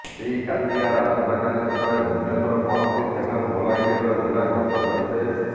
ଶ୍ରୀ କାତିଆର୍ ଆସନ୍ତାକାଲି ସକାଳେ ଭୁବନେଶ୍ୱର ପହଂଚି ସେଠାରୁ ବଲାଙ୍ଗୀର ଜିଲ୍ଲା ଗସ୍ତ କରିବେ